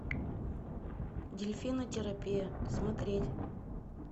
дельфинотерапия смотреть